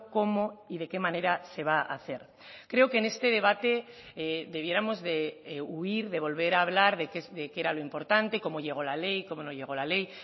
cómo y de qué manera se va a hacer creo que en este debate debiéramos de huir de volver a hablar de qué era lo importante cómo llegó la ley cómo no llegó la ley